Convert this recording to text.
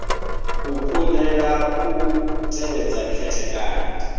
u kundelwa u tevhedza khethekanyo